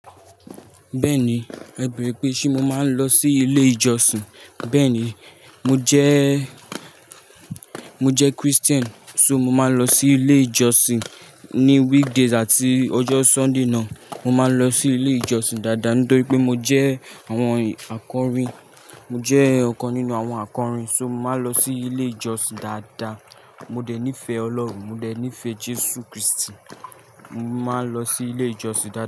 Bẹ́ẹ̀ni, ẹ̀beere pé ṣé mo máa ń lọ sí ilé ìjọsìn. Bẹ́ẹ̀ni, mo jẹ́, mo jẹ́ Christian, so mo máa n lọ sí ilé ìjọsìn. Ni weekdays àti ọjọ́ Sunday náà, mo máa ń lọ sí ilé ìjọsìn dáadáa. Nítorí pé mo jẹ́ àwọn akọrin, mo jẹ́ ọ̀kan nínú àwọn akọrin. So mo máa n lọ sí ilé ìjọsìn dáadáa. Mo dẹ̀ nífẹ̀ẹ́ Ọlọ́run, mo dẹ̀ nífẹ̀ẹ́ Jésù Krístì. Mo máa ń lọ sí ilé ìjọsìn dáadáa.